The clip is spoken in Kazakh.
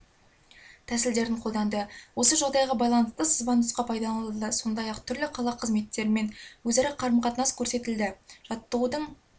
тәсілдерін қолданды осы жағдайға байланысты сызбанұсқа пайдаланылды сондай-ақ түрлі қала қызметтерімен өзара қарым-қатынас көрсетілді жаттығудың